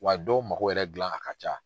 Wa dɔw mago wɛrɛ gilan na ka ca